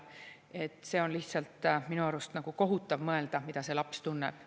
Minu arust on lihtsalt kohutav mõelda, mida see laps tunneb.